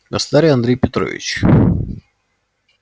государь андрей петрович